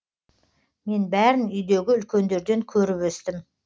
мен бәрін үйдегі үлкендерден көріп өстім